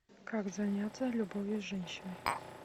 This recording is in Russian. как заняться любовью с женщиной